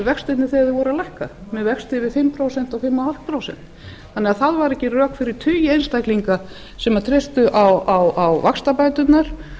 vextirnir þegar þeir voru að lækka með vexti yfir fimm prósent og fimm og hálft prósent þannig að það voru ekki rök fyrir tugi einstaklinga sem treystu á vaxtabæturnar